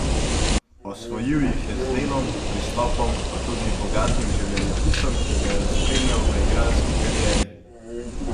Osvojil jih je z delom, pristopom, pa tudi bogatim življenjepisom, ki ga je spremljal v igralski karieri.